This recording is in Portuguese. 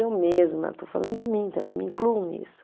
Eu mesma, estou falando de mim também, me incluo nisso.